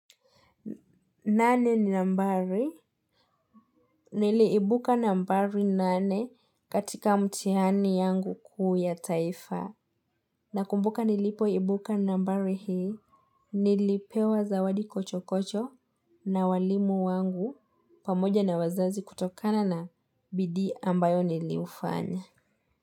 Nane ni nambari niliibuka nambari nane katika mtiani yangu kuu ya taifa na kumbuka nilipo ibuka nambari hii nilipewa zawadi kocho kocho na walimu wangu pamoja na wazazi kutokana na bidii ambayo nilifanya.